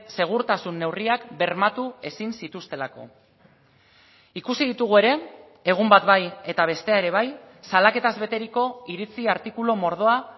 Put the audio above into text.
segurtasun neurriak bermatu ezin zituztelako ikusi ditugu ere egun bat bai eta bestea ere bai salaketaz beteriko iritzi artikulu mordoa